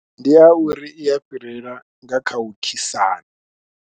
Ndi ya uri i ya fhirela nga kha u khisana.